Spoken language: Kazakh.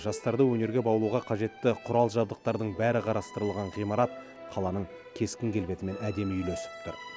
жастарды өнерге баулуға қажетті құрал жабдықтардың бәрі қарастырылған ғимарат қаланың кескін келбетімен әдемі үйлесіп тұр